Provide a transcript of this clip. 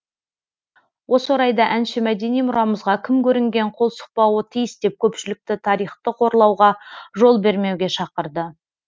осы орайда әнші мәдени мұрамызға кім көрінген қол сұқпауы тиіс деп көпшілікті тарихты қорлауға жол бермеуге шақырды